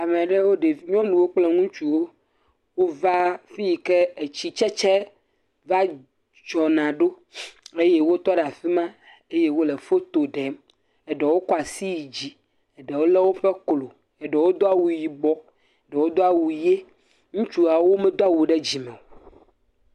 Ame aɖewo. Ɖevi. Nyɔnuwo kple ŋutsuwo wova afi yike afi yike etsitsetse va tsɔna ɖo eye wotɔ ɖew afi ma eye woɖe foto ɖem. Eɖewo kɔ asi yi dzi. Eɖewo le woƒe klo, eɖewo do awu yibɔ, eɖewo do awu ʋi. Ŋutsuawo medoa wu ɖe dzime o.